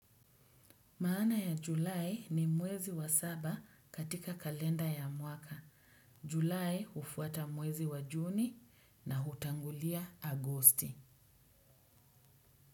Maana ya Julai ni mwezi wa saba katika kalenda ya mwaka. Julai hufuata mwezi wa Juni na hutangulia Agosti.